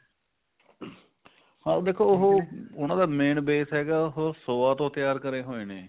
ਦੇਖੋ ਉਹ ਉਹਨਾ ਦਾ main base ਹੈਗਾ ਉਹ soya ਤੋਂ ਤਿਆਰ ਕਰੇ ਹੋਏ ਨੇ